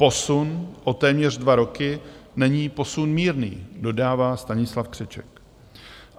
Posun o téměř dva roky není posun mírný, dodává Stanislav Křeček.